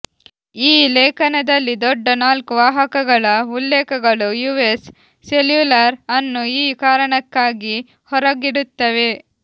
ಈ ಲೇಖನದಲ್ಲಿ ದೊಡ್ಡ ನಾಲ್ಕು ವಾಹಕಗಳ ಉಲ್ಲೇಖಗಳು ಯುಎಸ್ ಸೆಲ್ಯೂಲರ್ ಅನ್ನು ಈ ಕಾರಣಕ್ಕಾಗಿ ಹೊರಗಿಡುತ್ತವೆ